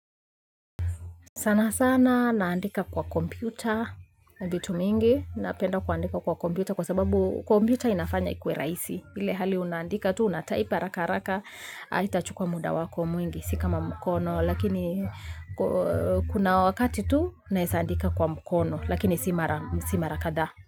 Sana sana naandika kwa kompyuta, vitu mingi, napenda kuandika kwa kompyuta kwa sababu kompyuta inafanya ikuwe rahisi. Ile hali unaandika tu, unatype haraka haraka haitachukwa muda wako mwingi, si kama mkono, lakini kuna wakati tu, naeza andika kwa mkono, lakini si mara kadhaa.